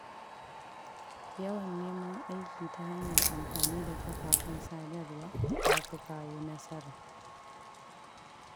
Yawan neman aiki ta hanyar amfani da kafafen sadarwa ya fi kawo nasara.